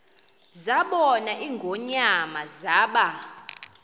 zabona ingonyama zaba